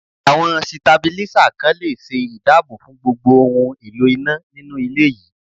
Àwọn Sitabílísà kan le ṣe ìdáàbò fún gbogbo ohun èlò iná nínú ilé yìí.